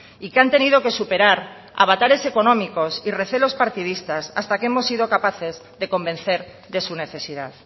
y que han tenido que superar avatares económicos y recelos partidistas hasta que hemos sido capaces de convencer de su necesidad